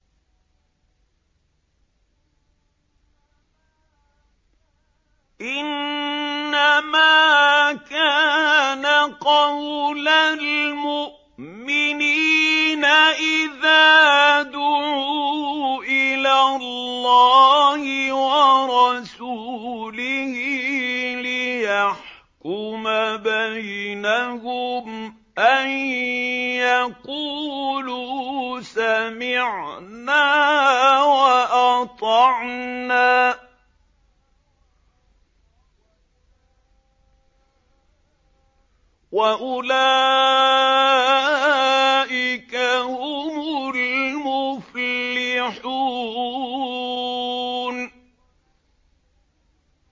إِنَّمَا كَانَ قَوْلَ الْمُؤْمِنِينَ إِذَا دُعُوا إِلَى اللَّهِ وَرَسُولِهِ لِيَحْكُمَ بَيْنَهُمْ أَن يَقُولُوا سَمِعْنَا وَأَطَعْنَا ۚ وَأُولَٰئِكَ هُمُ الْمُفْلِحُونَ